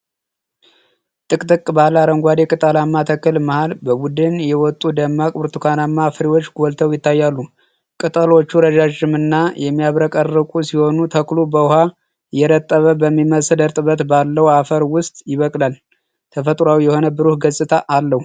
ጥቅጥቅ ባለ አረንጓዴ ቅጠላማ ተክል መሃል በቡድን የወጡ ደማቅ ብርቱካናማ ፍሬዎች ጎልተው ይታያሉ። ቅጠሎቹ ረዣዥምና የሚያብረቀርቁ ሲሆኑ፣ ተክሉ በውሃ የረጠበ በሚመስል እርጥበት ባለው አፈር ውስጥ ይበቅላል። ተፈጥሮአዊ የሆነ ብሩህ ገጽታ አለው።